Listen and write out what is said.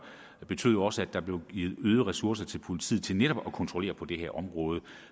betød jo også at der blev givet øgede ressourcer til politiet til netop at føre kontrol på det her område